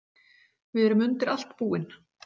Við erum undir allt búin.